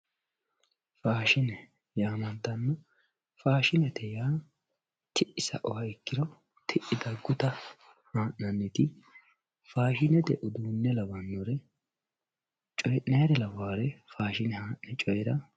faashshine yaamantanno faashshinete yaa t'i sa'uha ikkiro ti'i dagguta haa'nanni faashshinete uduunne lawannori coy'nayre lawannori faashine haa'ne coy'nayre